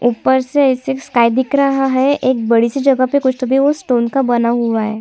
ऊपर से ऐसी स्काई दिख रहा है एक बड़ी सी जगह पर कुछ तो भी वो स्टोन का बना हुआ है।